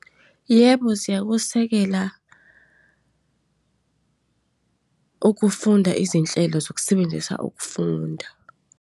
Yebo, ziyakusekela ukufunda izinhlelo zokusebenzisa ukufunda.